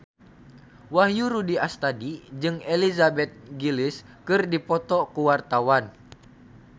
Wahyu Rudi Astadi jeung Elizabeth Gillies keur dipoto ku wartawan